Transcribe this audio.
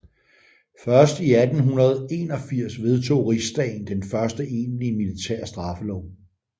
Først i 1881 vedtog Rigsdagen den første egentlige militære straffelov